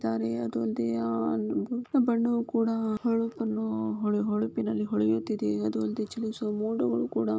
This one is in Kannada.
ಇದಾವೆ. ಅದು ಅಲ್ದೆ ಆ ಬಲ್ಬ್ ನ ಬಣ್ಣವು ಕೂಡ ಹೊಳಪನ್ನು ಹೊಳೆ - ಹೊಳೆಪಿನಲ್ಲಿ ಹೊಳೆಯುತ್ತಿದೆ. ಅದು ಅಲ್ದೆ ಚಲಿಸುವ ಮೋಡಗಳು ಕೂಡ